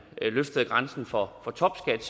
løftede grænsen for topskat